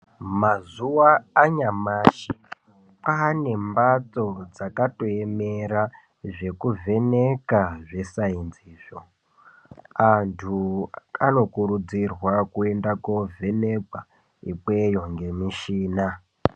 Mazuwa anyamashi kwaane mbatso dzakaemera zvekuvheneka zvesaenzi izvo, andu anokurudzirwa kuenda koovhenekwa ikweyo ngemishina.